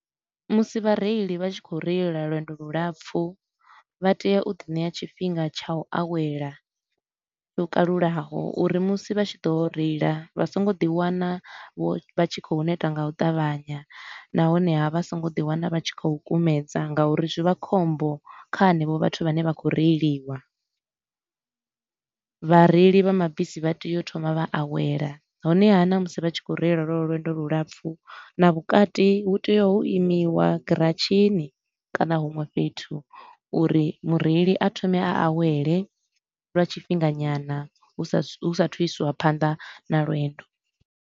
Musi vha reili vha tshi khou reila lwendo lu lapfu, vha tea u ḓi ṋea tshifhinga tsha u awela lwo kalulaho. Uri musi vha tshi ḓo reila vha so ngo ḓi wana vha tshi khou neta nga u ṱavhanya nahone haa, vha so ngo ḓi wana vha tshi khou kumedza nga uri zwi vha khombo kha hanevho vhathu vhane vha khou reiliwa. Vhareili vha mabisi vha tea u thoma vha awela, honeha na musi vha tshi khou reila lwelwo lwendo lu lapfu na vhukati hu tea hu imiwa giratshini kana huṅwe fhethu uri mureili a thome a awele lwa tshifhinga nyana hu sa hu sa athu u isiwa phanda na lwendo.